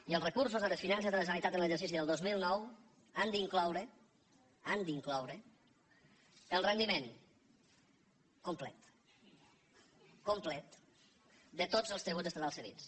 i els recursos de les finances de la generalitat en l’exercici del dos mil nou han d’incloure l’han d’incloure el rendiment complet complet de tots els tributs estatals cedits